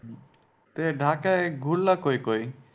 ঢাকায় ঘুরলা কোই কোই?